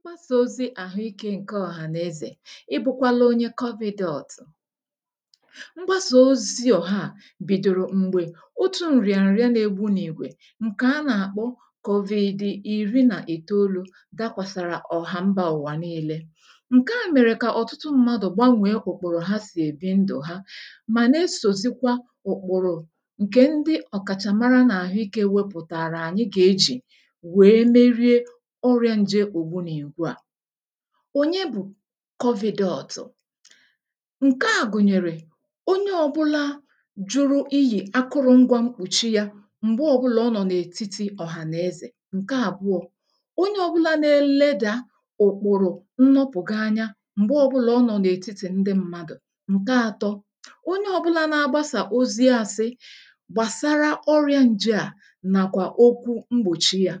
mgbasà ozi̇ àhụikė ǹke ọ̀hà n’ezè, ị bụ̇kwala onye kọpị̇dọọ̀tụ̀ mgbasà ozi̇ ọ̀ha à bìdòrò m̀gbè otu̇ ǹrị̀à ǹrịa n’egbu n’ìgwè ǹkè a na-akpọ kọ̀vị̀dị̀ ìri nà ìtoolu̇ dakwàsàrà ọ̀hàmbȧụ̀wà nii̇lė, ǹkeà mèrè kà ọ̀tụtụ mmadụ̀ gbanwèe ụ̀kpụ̀rụ̀ ha sì èbi ndụ̀ ha mà na-esòzikwa ụ̀kpụ̀rụ̀ ǹkè ndị ọ̀kàchàmara n’àhụikė wepụ̇tààrà ànyị gà-ejì ònye bụ̀ kọvị̇dọọ̀tụ̀ ǹke à gụ̀nyèrè onye ọ̇bụ̇lȧ jụrụ iyì akụrụ̇ngwȧ mkpùchi yȧ m̀gbe ọ̇bụ̇là ọ nọ̀ n’ètitì ọ̀hànaezè, ǹke àbụọ̇ onye ọ̇bụ̇la na-eledà ụ̀kpụ̀rụ̀ nnọpụ̀ gị anya m̀gbe ọbụ̇là ọ nọ̀ n’ètitì ndị mmadụ̀, ǹke ȧtọ̇ onye ọ̇bụ̇la na-agbasà ozi ȧsị gbàsara ọrịȧ nje à nàkwà okwu mgbòchi yȧ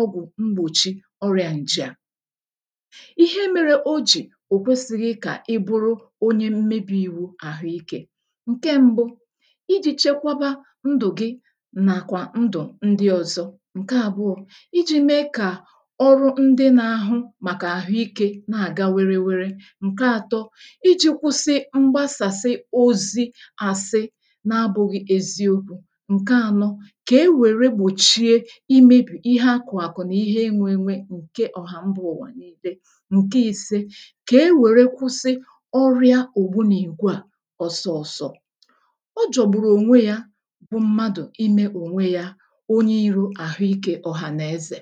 ọgwụ̀ mgbòchi ọrị̀à ǹjì à ihe mėrė o jì ò kwesi̇ghi kà i buru onye mmebì i̇wu àhụikė ǹke ṁbụ̇ iji̇ chekwaba ndụ̀ gị nàkwà ndụ̀ ndị ọ̇zọ̇ ǹke àbụọ̇ iji̇ mee kà ọrụ ndị nȧ-ȧhụ̇ màkà àhụikė na-àga werewere ǹke ȧtọ̇ iji̇ kwụsị mgbasasi ozi̇ ȧsị̇ na-abụ̇ghị eziokwu̇ ǹke ȧnọ̇ ihe enwė enwe ǹke ọhà mbụ ụ̀wà n’ibe ǹke ise kà e wère kwụsị ọrịa ògbu n’ìgwe à ọsọọ̇sọ̇ ọ jọ̀gbùrù ònwe yȧ bụ mmadụ̀ imė ònwe yȧ onye iro àhụikė ọ̀hànàezè